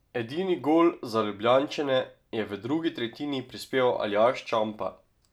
Edini gol za Ljubljančane je v drugi tretjini prispeval Aljaž Čampa.